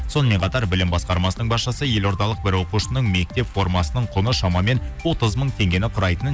сонымен қатар білім басқармасының басшысы елордалық бір оқушысының мектеп формасының құны шамамен отыз мың теңгені құрайтынын